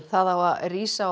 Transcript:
það á að rísa